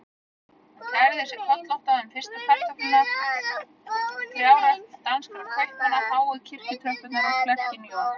Hún kærði sig kollótta um fyrstu kartöfluna, trjárækt danskra kaupmanna, háu kirkjutröppurnar og klerkinn Jón